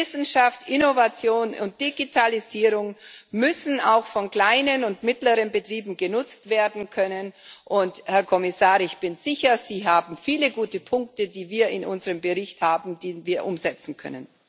Wissenschaft, Innovation und Digitalisierung müssen auch von kleinen und mittleren Betrieben genutzt werden können, und, Herr Kommissar, ich bin sicher, es gibt viele gute Punkte, die wir in unserem Bericht haben, die wir umsetzen können.